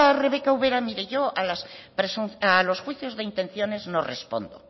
rebeka ubera mire yo a los juicios de intenciones no respondo